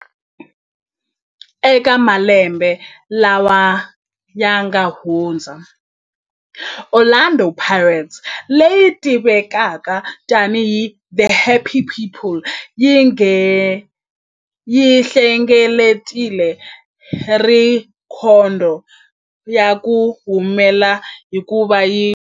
Eka malembe lawa yanga hundza, Orlando Pirates, leyi tivekaka tani hi 'The Happy People', yi hlengeletile rhekhodo ya ku humelela hikuva yi hlule